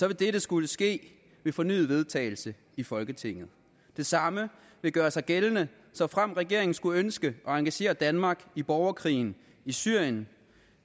vil dette skulle ske ved fornyet vedtagelse i folketinget det samme vil gøre sig gældende såfremt regeringen skulle ønske at engagere danmark i borgerkrigen i syrien